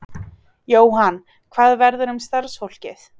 Jóhann: Hvað verður um starfsfólkið?